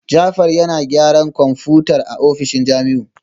Jafar yana gyaran kwamfutar a ofishin Jamiu